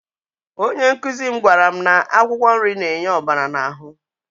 Onye nkụzi m gwara m na akwụkwọ nri na-enye ọbara n'ahụ.